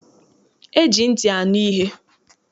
E ji ntị anu ihe.